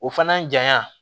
O fana janya